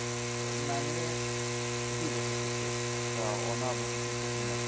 Sənət məni bir dəfə seçib və ona bunun üçün çox minnətdaram.